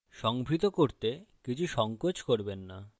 সংভৃত করতে কিছু সংকোচ করবেন না